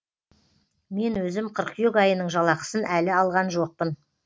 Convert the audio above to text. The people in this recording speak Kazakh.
мен өзім қыркүйек айының жалақысын әлі алған жоқпын